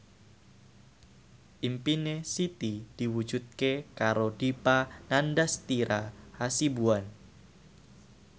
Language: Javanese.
impine Siti diwujudke karo Dipa Nandastyra Hasibuan